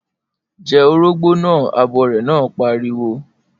Jẹ orógbó naa! Abọrẹ̀ náà pariwo.